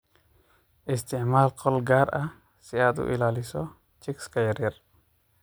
Isticmaal qol gaar ah si aad u ilaaliso chicks yar yar.